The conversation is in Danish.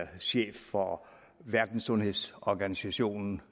chef for verdenssundhedsorganisationen